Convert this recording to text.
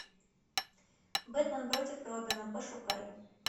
бэтмен против робина пошукай